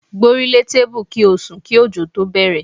Gbórílé tébù kí ó sùn kí ọ̀jọ̀ tó bẹ̀rẹ̀.